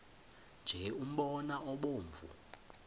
nje umbona obomvu